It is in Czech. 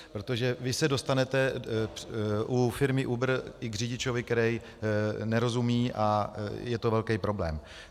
Protože vy se dostanete u firmy Uber i k řidiči, který nerozumí, a je to velký problém.